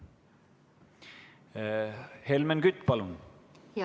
Helmen Kütt, palun!